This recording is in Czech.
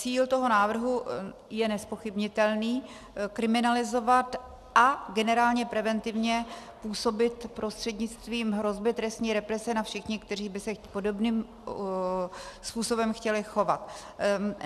Cíl toho návrhu je nezpochybnitelný - kriminalizovat a generálně preventivně působit prostřednictvím hrozby trestní represe na všechny, kteří by se podobným způsobem chtěli chovat.